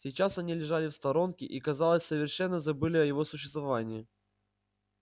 сейчас они лежали в сторонке и казалось совершенно забыли о его существовании